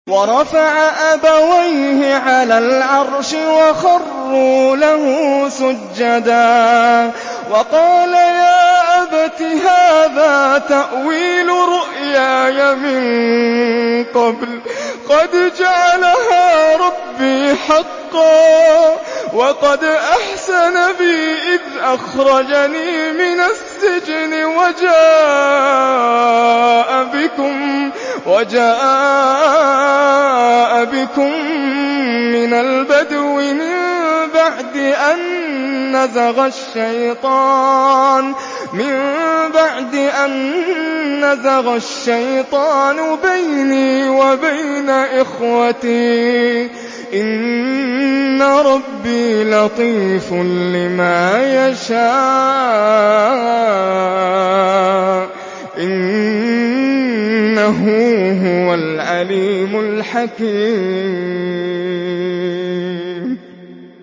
وَرَفَعَ أَبَوَيْهِ عَلَى الْعَرْشِ وَخَرُّوا لَهُ سُجَّدًا ۖ وَقَالَ يَا أَبَتِ هَٰذَا تَأْوِيلُ رُؤْيَايَ مِن قَبْلُ قَدْ جَعَلَهَا رَبِّي حَقًّا ۖ وَقَدْ أَحْسَنَ بِي إِذْ أَخْرَجَنِي مِنَ السِّجْنِ وَجَاءَ بِكُم مِّنَ الْبَدْوِ مِن بَعْدِ أَن نَّزَغَ الشَّيْطَانُ بَيْنِي وَبَيْنَ إِخْوَتِي ۚ إِنَّ رَبِّي لَطِيفٌ لِّمَا يَشَاءُ ۚ إِنَّهُ هُوَ الْعَلِيمُ الْحَكِيمُ